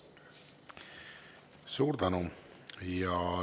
Suur tänu!